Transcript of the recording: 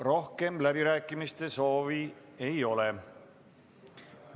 Rohkem läbirääkimiste soovi ei ole.